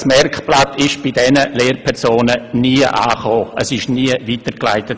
Fazit: Das Merkblatt ist bei diesen Lehrpersonen nie angekommen, es wurde also nie weitergeleitet.